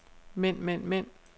mænd mænd mænd